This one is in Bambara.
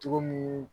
Cogo mun